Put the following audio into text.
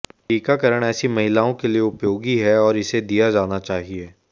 टीकाकरण ऐसी महिलाओं के लिए उपयोगी है और इसे दिया जाना चाहिए